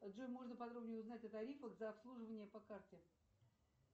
джой можно подробнее узнать о тарифах за обслуживание по карте